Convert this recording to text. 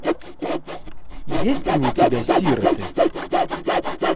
есть ли у тебя сироты